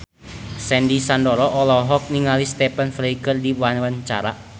Sandy Sandoro olohok ningali Stephen Fry keur diwawancara